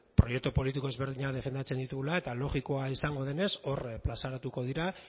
proiektu politiko ezberdinak defendatzen ditugula eta logikoa izango denez hor azaleratuko dira